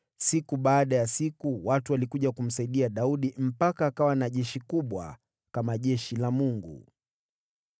Siku baada ya siku watu walikuja kumsaidia Daudi, mpaka akawa na jeshi kubwa, kama jeshi la Mungu.